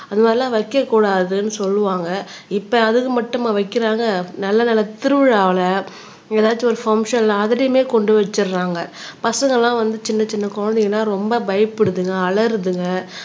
அது மாதிரிலாம் வைக்கக்கூடாதுன்னு சொல்லுவாங்க இப்ப அதுக்கு மட்டுமா வைக்கிறாங்க நல்ல நல்ல திருவிழாவுல எதாச்சும் ஒரு பங்க்சன்ல அதுலயுமே கொண்டு வச்சிடுறாங்க பசங்கள்லாம் வந்து சின்ன சின்ன குழந்தைங்க எல்லாம் ரொம்ப பயப்படுதுங்க அலறுதுங்க